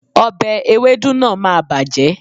òbe ewédú náà máà bàjẹ́